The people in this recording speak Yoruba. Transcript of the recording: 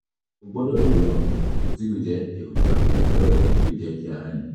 o gbọ́dọ̀ lo àwọn oògùn tí kìí jẹ́ èròjà steroid tí kìí jẹ́ kí ara le